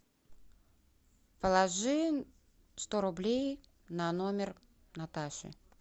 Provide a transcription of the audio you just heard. положи сто рублей на номер наташи